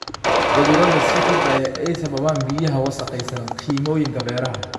Cudurrada sii kordhaya ee ay sababaan biyaha wasakhaysan kiimikooyinka beeraha.